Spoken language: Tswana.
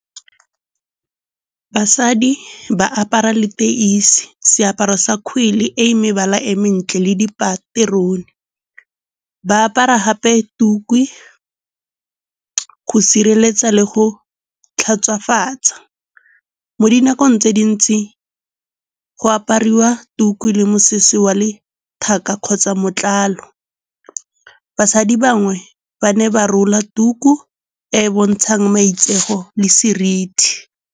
Basadi ba apara leteisi, seaparo sa kgwele e mebala e mentle le dipaterone. Ba apara gape tuku go sireletsa le go tlhatswafatsa. Mo dinakong tse dintsi go apariwa tuku le mosese wa letheka kgotsa matlalo. Basadi bangwe ba ne ba rola tuku e e bontshang maitseo le seriti.